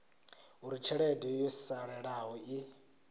uri tshelede yo salelaho i